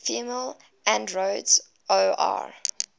female androids or